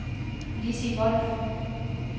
Lissi Wolff